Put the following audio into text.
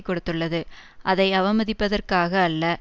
கொடுத்துள்ளது அதை அவமதிப்பதற்காக அல்ல